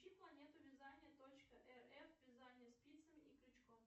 включи планету вязания точка рф вязание спицами и крючком